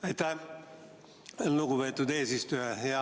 Aitäh, lugupeetud eesistuja!